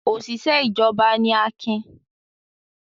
Òṣìṣẹ́ ìjọba ni Akin.